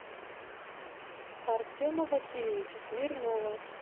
артема васильевича смирнова